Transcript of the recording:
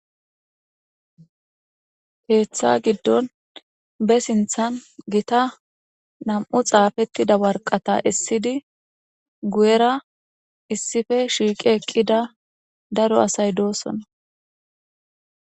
Keetha gidon be sinthani Gita nam'u xafetida waraqata esidi guyera issippe shiiq eqida daro asay dosona.